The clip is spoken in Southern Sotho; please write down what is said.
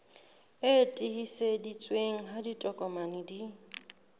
e tiiseditsweng ha ditokomane di